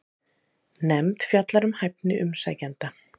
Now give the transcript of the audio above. Nefnd fjallar um hæfni umsækjenda